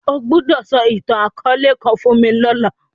O gbọdọ sọ itan-akọọlẹ kan fun mi lọla!